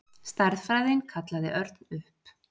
Stærðfræðin kallaði Örn upp.